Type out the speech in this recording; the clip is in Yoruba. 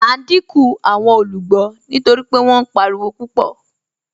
À n díńkù awọn olúgbọ́ nítorí pé wọn páriwo pupọ̀.